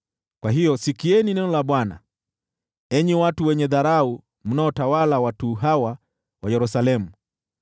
Kwa hiyo sikieni neno la Bwana , enyi watu wenye dharau mnaotawala watu hawa wa Yerusalemu.